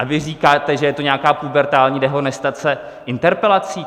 A vy říkáte, že je to nějaká pubertální dehonestace interpelací.